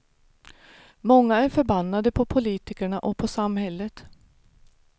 Många är förbannade på politikerna och på samhället.